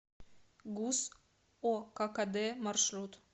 гуз оккд маршрут